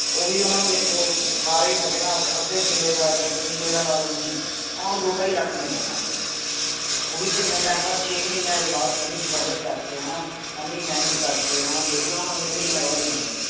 ਉਹ ਹੀ ਓਹਨਾ ਨੂੰ ਵੇਖੋ ਸਾਰੇ ਮਜੇ ਨਾਲ ਅੱਧੇ ਕਿਲੇ ਦਾ ਜਾ ਕਿੱਲੇ ਦਾ ਲਾ ਲੋ ਤੁਸੀਂ ਓਹਨਾ ਨੂੰ ਦੋ ਢਾਈ ਲੱਖ ਮਿਲਦਾ ਹੈ ਕਣਕ ਦਾ। ਉਹ ਵੀ ਕਿੰਨੇ ਟਾਈਮ ਬਾਅਦ ਛੇ ਮਹੀਨੇਆਂ ਦੇ ਬਾਅਦ ਤੁਹੁਨੂੰ struggle ਕਰਕੇ ਹਣਾ ਇੰਨੀ ਮਿਹਨਤ ਕਰਕੇ ਹਣਾ ਫਿਰ ਵੀ ਓਹਨਾ ਨੂੰ ਇਨੇ ਮਹੀਨੇ ਬਾਅਦ ਮਿਲਦੇ